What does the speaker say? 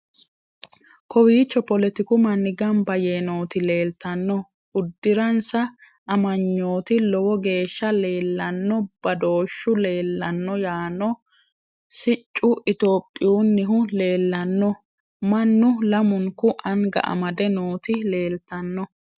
kowiicho poletiku manni gamba yee nooti leeltanno udiransa amanyooti lowo geeshsha leellanno badooshu leellanno yaano siccu topiyunnihu leellanno mannu lamunku anga amadde nooti leeltanno